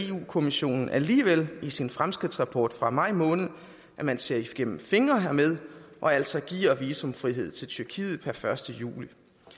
kommissionen alligevel i sin fremskridtsrapport fra maj måned at man ser igennem fingre hermed og altså giver visumfrihed til tyrkiet per første juli